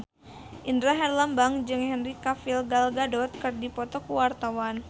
Indra Herlambang jeung Henry Cavill Gal Gadot keur dipoto ku wartawan